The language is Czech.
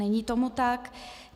Není tomu tak.